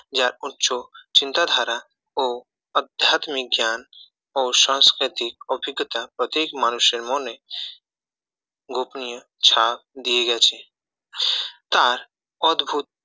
যার উচ্চ চিন্তাধারা ও আধ্যাত্মিক গান ও সংস্কৃতিক অভিজ্ঞতা প্রত্যেক মানুষের মনে গোপনীয় ছাপ দিয়ে গেছে তার অদ্ভূত